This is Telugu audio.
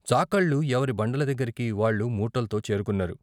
చాకళ్ళు ఎవరి బండల దగ్గరకి వాళ్ళు మూటల్తో చేరుతున్నారు.